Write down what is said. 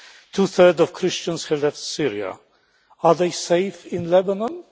Two thirds of Christians have left Syria. Are they safe in Lebanon?